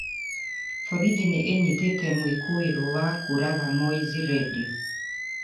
Borithi nĩ ĩnyitĩte mwikuirwo wa kũũraga Mowzey Radio